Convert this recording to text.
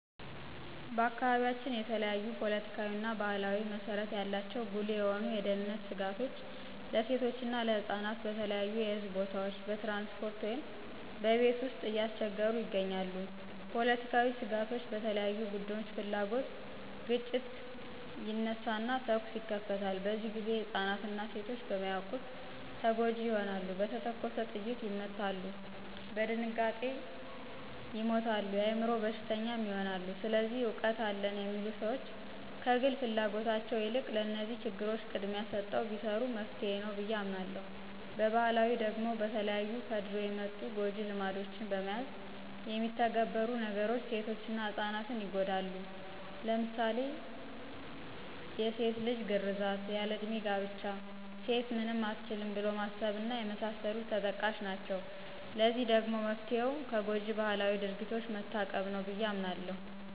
በአካባቢያችን የተለያዪ ፖለቲካዊና ባህላዊ መሰረት ያላቸው ጉልህ የሆኑ የደህንነት ስጋቶች ለሴቶችና ለህጻናት በተለያዩ የህዝብ ቦታዎች፣ በትራንስፖርት ውይም በቤት ውስጥ እያስቸገሩ ይገኛሉ። ፖለቲካዊ ስጋቶች በተለያዩ ቡድኖች ፍላጉት ግጭት ይነሳና ተኩስ ይከፈታል፤ በዚህ ግዜ ህፃናትና ሴቶች በማያዉቁት ተጎጅ ይሆናሉ፣ በተተኮሰ ጥይት ይመታሉ፣ በድንጋጤ ይሞታሉ፣ የአይምሮ በሽተኛም ይሆናሉ። ስለዚህ እውቀት አለን የሚሉ ሰዎች ከግል ፍላጎታቸው የልቅ ለነዚህ ችግሮች ቅድሚያ ሰተው ቢሰሩ መፍትሄ ነዉ ብየ አምናለሁ። በባህላዊ ደግሞ በተለያዩ ከድሮ የመጡ ጎጅ ልማዶችን በመያዝ የሚተገበሩ ነገሮች ሴቶችና ህጻናት ይጎዳሉ ለምሳሌ ድስት ልጅ ግርዛት፣ ያል ለዕድሜ ጋብቻ፣ ሴት ምንም አትችልም ብሎ ማሰብ እና የመሳሰሉት ተጠቃሽ ናቸው። ለዚህ ደግሞ መፍትሄው ከጎጅ ባህላዊ ድርጊቶች መታቀብ ነው ብየ አምናለሁ።